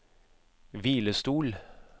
hvilestol